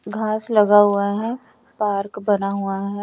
घास लगा हुआ है पार्क बना हुआ है।